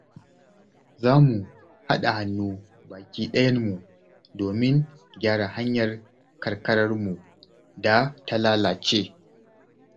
Za mu haɗa hannu baki ɗayan mu domin gyara hanyar karkararmu da ta lalace.